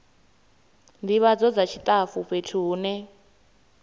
ndivhadzo dza tshitafu fhethu hune